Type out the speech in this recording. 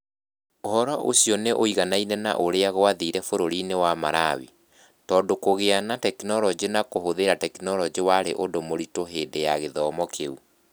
Ũhoro ũcio nĩ ũiguanaine na ũrĩa gwathire bũrũri-inĩ wa Malawi, tondũ kũgĩa na tekinolonjĩ na kũhũthĩra tekinolonjĩ warĩ ũndũ mũritũ hĩndĩ ya gĩthomo kĩu.